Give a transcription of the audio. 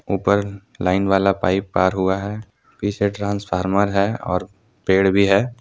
ऊपर लाइन वाला पाइप पार हुआ है पीछे ट्रांसफार्मर है और पेड़ भी है।